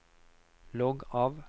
logg av